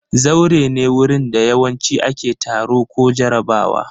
Zaure ne wurin da yawanci ake taro ko jarabawa.